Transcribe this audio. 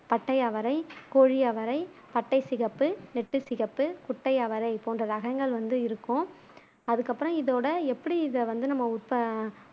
பட்டை அவரை கோழி அவரை பட்டை சிகப்பு நெட்டை சிகப்பு குட்டை அவரை போன்ற ரகங்கள் வந்து இருக்கும் அதுக்கு அப்புறம் இதோட எப்படி இத வந்து நம்ம உப்ப